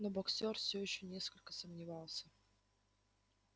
но боксёр всё ещё несколько сомневался